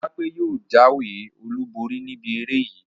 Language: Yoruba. Ojúọlápé yóò jáwé olùborí níbi eré yìí